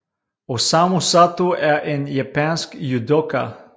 Osamu Sato er en japansk judoka